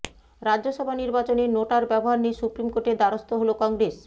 রাজ্যসভা নির্বাচনে নোটার ব্যবহার নিয়ে সুপ্রিম কোর্টের দ্বারস্থ হল কংগ্রেস